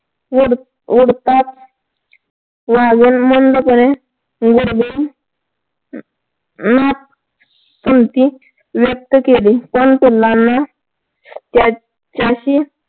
ओढ ओढताच वाघीण मंदपणे व्यक्त केली पण पिल्लाना त्याची